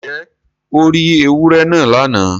Ǹjẹ́ o rí èwúrẹ̀ náà lána?